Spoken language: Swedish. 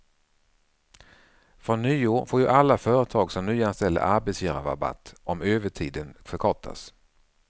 Från nyår får ju alla företag som nyanställer arbetsgivarrabatt om övertiden förkortas.